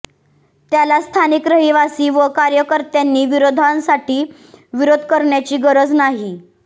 त्याला स्थानिक रहिवासी व कार्यकर्त्यांनी विरोधासाठी विरोध करण्याची गरज नाही